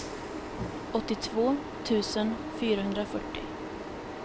åttiotvå tusen fyrahundrafyrtio